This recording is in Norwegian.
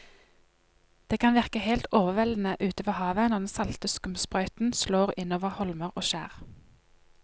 Det kan virke helt overveldende ute ved havet når den salte skumsprøyten slår innover holmer og skjær.